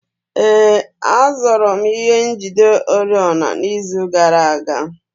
Ee, azụrụ m ihe njide oriọna n'izu gara aga